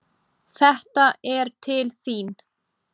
Þetta er til þín